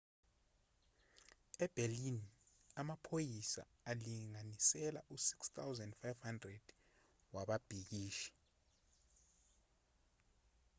eberlin amaphoyisa alinganisela u-6,500 wababhikishi